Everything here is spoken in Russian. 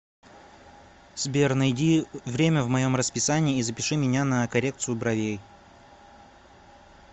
сбер найди время в моем расписании и запиши меня на коррекцию бровей